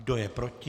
Kdo je proti?